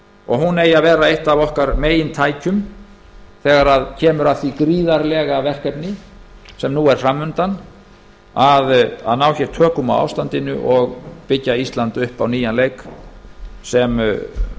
og hún eigi að verða eitt af okkar megintækjum þegar kemur að því gríðarlega verkefni sem nú er fram undan að ná tökum á ástandinu og byggja ísland upp á nýjan leik sem